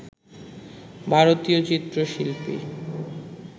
ভারতীয় চিত্রশিল্পী